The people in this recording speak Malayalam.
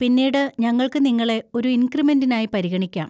പിന്നീട് ഞങ്ങൾക്ക് നിങ്ങളെ ഒരു ഇൻക്രിമെന്‍റിനായി പരിഗണിക്കാം.